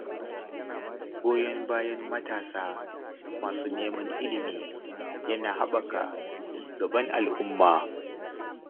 Goyon bayan matasa masu neman ilimi yana haɓaka cigaban al’umma.